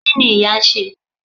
kini ìyá n se